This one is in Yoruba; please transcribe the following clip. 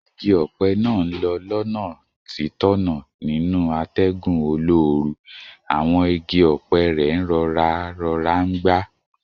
Igi ọ̀pẹ náà ń lọ́ lọ́nà títọ̀nà nínú atẹ́gùn olóoru, àwọn igi ọ̀pẹ rẹ̀ ń rọra rọra ń gbá